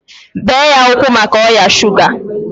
bee ya ụkwụ maka ọrịa shuga!